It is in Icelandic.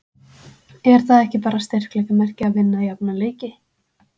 Er það ekki bara styrkleikamerki að vinna jafna leiki?